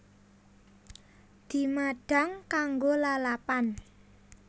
Dimadhang kanggo lalapan